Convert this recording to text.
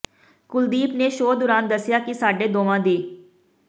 ਕੁਲਦੀਪ ਨੇ ਸ਼ੋਅ ਦੌਰਾਨ ਦੱਸਿਆ ਕਿ ਸਾਡੇ ਦੋਵਾਂ ਦੀ